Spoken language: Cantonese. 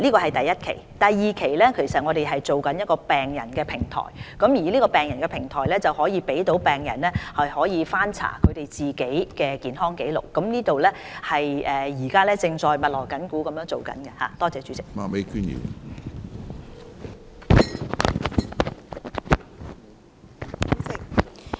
至於第二期，我們正籌備一個病人平台，這個病人平台可讓病人翻查自己的健康紀錄，我們正密鑼緊鼓籌備這個平台。